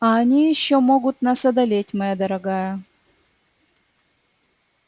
а они ещё могут нас одолеть моя дорогая